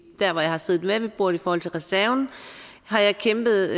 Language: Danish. der hvor jeg har siddet med ved bordet i forhold til reserven har jeg kæmpet